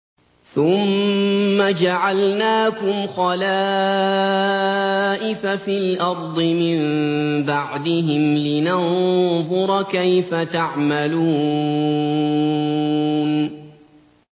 ثُمَّ جَعَلْنَاكُمْ خَلَائِفَ فِي الْأَرْضِ مِن بَعْدِهِمْ لِنَنظُرَ كَيْفَ تَعْمَلُونَ